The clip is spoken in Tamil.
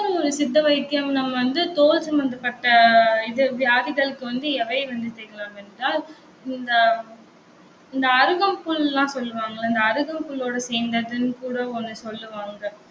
பிறகு இன்னொரு சித்த வைத்தியம் நாம வந்து, தோல் சம்பந்தப்பட்ட இது வியாதிகளுக்கு வந்து, எவை வந்து தேய்க்கலாம் என்றால் இந்த, இந்த அருகம்புல் எல்லாம் சொல்லுவாங்கல்ல, இந்த அருகம்புல்லோட சேர்ந்ததுன்னு கூட ஒண்ணு சொல்லுவாங்க